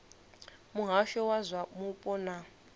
muhasho wa zwa mupo na